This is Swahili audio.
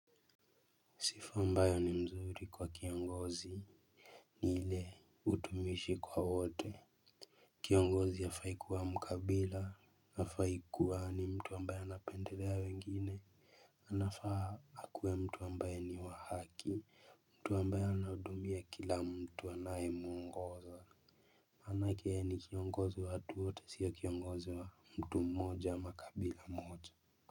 Sifa ambayo ni mzuri kwa kiongozi. Ni ile utumishi kwa wote. Kiongozi hafai kuwa mkabila. Hafai kuwa ni mtu ambayo anapendelea wengine anafaa akuwe mtu ambaye ni wa haki. Mtu ambaye anahudumia kila mtu anayemwongoza maanake yeye ni kiongozi wa watu wote siyo kiongozi wa mtu mmoja ama kabila moja.